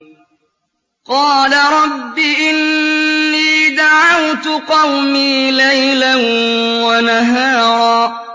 قَالَ رَبِّ إِنِّي دَعَوْتُ قَوْمِي لَيْلًا وَنَهَارًا